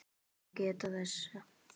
má geta þess